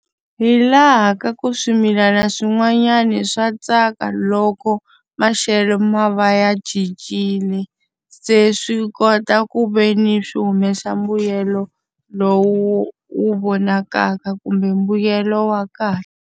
Hi laha ka ku swimilana swin'wanyana swa tsaka loko maxelo ma va ya cincile, se swi kota ku ve ni swi humesa mbuyelo lowu wu vonakaka kumbe mbuyelo wa kahle.